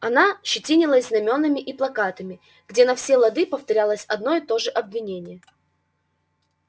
она щетинилась знамёнами и плакатами где на все лады повторялось одно и то же обвинение